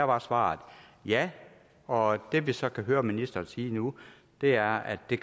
var svaret ja og det vi så kan høre ministeren sige nu er at det